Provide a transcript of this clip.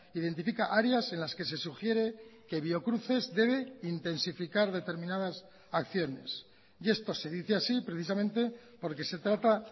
identifica áreas en las que se sugiere que biocruces debe intensificar determinadas acciones y esto se dice así precisamente porque se trata